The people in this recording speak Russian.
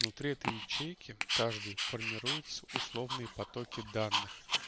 внутри этой ячейки каждый формирует условные потоки данных